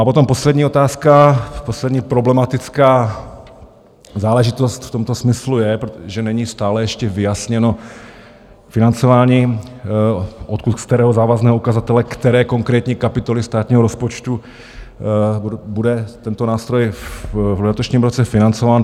A potom poslední otázka, poslední problematická záležitost v tomto smyslu je, že není stále ještě vyjasněno financování, odkud, z kterého závazného ukazatele, které konkrétní kapitoly státního rozpočtu bude tento nástroj v letošním roce financován.